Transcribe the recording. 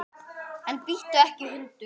En bíttu ekki, hundur!